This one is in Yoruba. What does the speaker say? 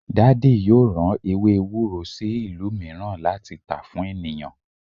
Daddy yoo ran ewe ewuro si ilu miiran lati ta fun eniyan